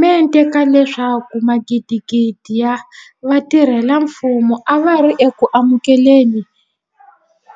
mente ka leswaku magidigidi ya vatirhela mfumo a va ri eku amukele ni